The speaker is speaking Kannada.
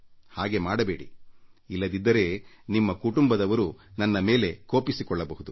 ಹಾಗೆ ಮಾಡಬೇಡಿ ಇಲ್ಲದಿದ್ದರೆ ನಿಮ್ಮ ಕುಟುಂಬದವರು ನನ್ನ ಮೇಲೆ ಕೋಪಿಸಿಕೊಳ್ಳಬಹುದು